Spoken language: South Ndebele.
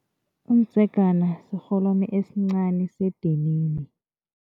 Umdzegana sirholwani sedinini.